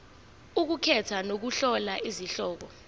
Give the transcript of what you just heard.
ukukhetha nokuhlola izihloko